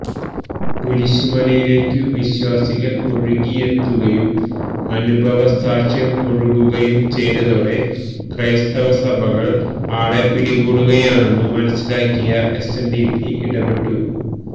കുരിശുമലയിലേയ്ക്കു വിശ്വാസികൾ ഒഴുകിയെത്തുകയും അനുഭവസാക്ഷ്യം ഒഴുകുകയും ചെയ്തതോടെ ക്രൈസ്തവ സഭകളെ ആളെപിടികൂടുകയാണെന്നു മനസിലാക്കി എസ്എൻഡിപി ഇടപെട്ടു